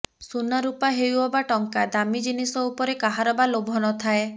ସୁନା ରୂପା ହେଉ ଅବା ଟଙ୍କା ଦାମୀ ଜିନିଷ ଉପରେ କାହାର ବା ଲୋଭନଥାଏ